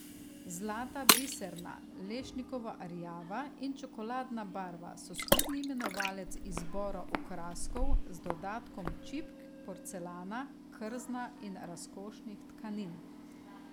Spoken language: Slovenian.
Zlata, biserna, lešnikovo rjava in čokoladna barva so skupni imenovalec izbora okraskov, z dodatkom čipk, porcelana, krzna in razkošnih tkanin.